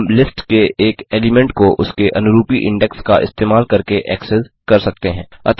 हम लिस्ट के एक एलीमेंट को उसके अनुरूपी इंडेक्स का इस्तेमाल करके एक्सेस करते हैं